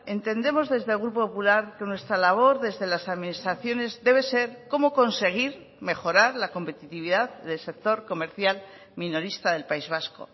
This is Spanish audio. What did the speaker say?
entendemos desde el grupo popular que nuestra labor desde las administraciones debe ser cómo conseguir mejorar la competitividad del sector comercial minorista del país vasco